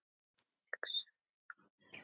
hugsaði maður.